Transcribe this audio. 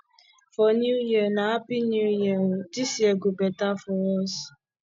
for new year na hapi new year o this year go beta for us